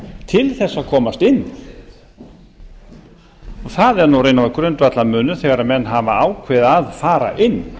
til þess að komast inn það er nú grundvallarmunur þegar menn hafa ákveðið að fara inn